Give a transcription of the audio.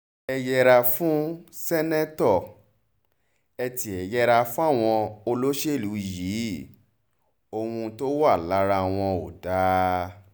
ẹ yẹra fún ṣèǹtẹ́tò ẹ tiẹ̀ yẹra fáwọn olóṣèlú yìí ohun tó wà lára wọn ò dáa